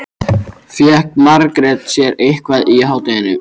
Fékk Margrét sér eitthvað í hádeginu?